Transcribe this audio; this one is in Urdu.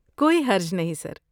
کوئی حرج نہیں، سر۔